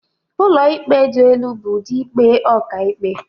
Ụlọikpe dị elu bụ ụdị ikpe ọkàikpe..